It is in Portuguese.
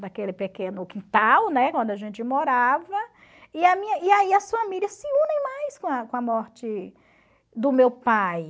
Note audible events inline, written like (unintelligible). daquele pequeno quintal, né, onde a gente morava, e a (unintelligible) e aí as famílias se unem mais com a com a morte do meu pai.